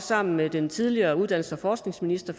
sammen med den tidligere uddannelses og forskningsminister